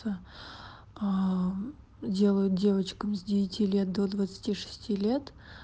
делают девочкам с девяти лет до двадцати шести лет